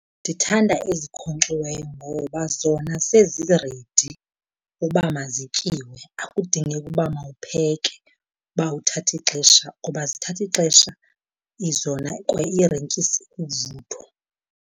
Ndithanda ezikhonkxiweyo ngoba zona seziredi uba mazityiwe. Akudingeki uba mawupheke uba uthathe ixesha, ngoba zithatha ixesha zona kwa iirentyisi uvuthwa.